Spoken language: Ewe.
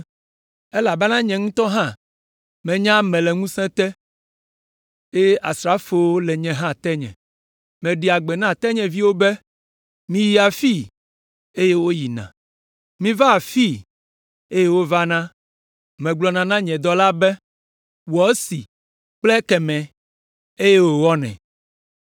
Elabena nye ŋutɔ hã menye ame le ŋusẽ te, eye asrafowo le nye hã tenye. Meɖea gbe na tenyeviwo be, ‘Miyi afii’, eye woyina, ‘Miva afii’, eye wovana, megblɔna na nye dɔla be, ‘Wɔ esi kple ekemɛ’, eye wòwɔnɛ.”